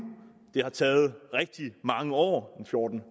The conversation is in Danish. det har taget rigtig mange år fjorten